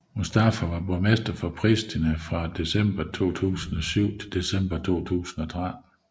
Mustafa var borgmester for Pristina fra december 2007 til december 2013